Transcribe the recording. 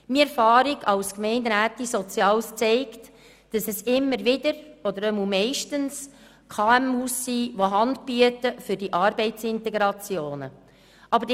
Meine Erfahrungen als zuständige Gemeinderätin für das Ressort Soziales zeigen, dass es immer wieder oder meistens kleine und mittlere Unternehmungen (KMU) sind, die für Arbeitsintegrationen Hand bieten.